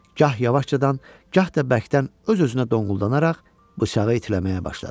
Gah yavaşcadan, gah da bərkdən öz-özünə donquldanaraq bıçağı itiləməyə başladı.